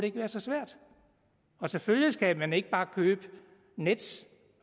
ikke være så svært selvfølgelig skal man ikke bare købe nets